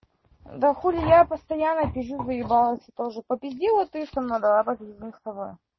да хули я постоянно пизжу заебалась я тоже попизди вот ты со мной давай попиздим с тобой